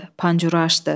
Pancuru açdı.